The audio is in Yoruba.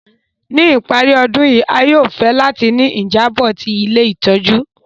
Ni ìparí ọdun yi, a yóò fẹ láti ni ìjábò ti ilé ìtójú